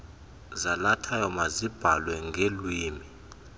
zalathayo mazibhalwe ngeelwimi